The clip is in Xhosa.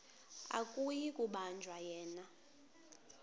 akuyi kubanjwa yena